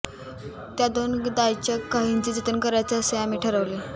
त्या दान द्यायच्या काहींचे जतन करायचे असे आम्ही ठरवले